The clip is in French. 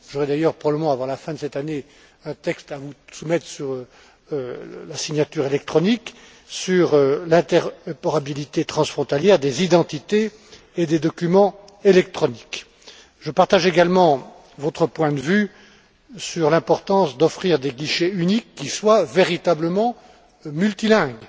J'aurai d'ailleurs, probablement avant la fin de cette année, un texte à vous soumettre sur la signature électronique et sur l'interopérabilité transfrontalière des identités et des documents électroniques. Je partage également votre point de vue sur l'importance d'offrir des guichets uniques qui soient véritablement multilingues,